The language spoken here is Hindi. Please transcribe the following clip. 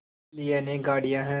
लिए अनेक गाड़ियाँ हैं